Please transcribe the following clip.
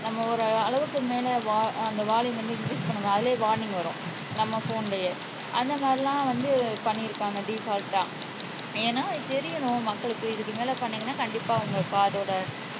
நம்ம ஒரு அளவுக்கு மேல வா அந்த வால்யூம் வந்து இங்கிரீஸ் பண்ணும் அதுலையே வார்னிங் வரும் நம்ம போன்லயே அந்த மாதிரிலாம் வந்து பண்ணிருக்காங்க டிபால்டா ஏன்னா இது தெரியணும் மக்களுக்கு இதுக்கு மேல பண்ணீங்கன்னா கண்டிப்பா உங்க காதோட